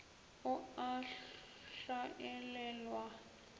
o a hlaelelwa le ge